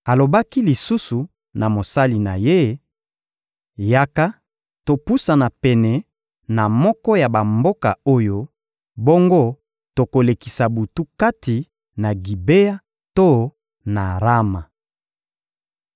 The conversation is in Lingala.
Alobaki lisusu na mosali na ye: — Yaka, topusana pene na moko ya bamboka oyo; bongo tokolekisa butu kati na Gibea to na Rama.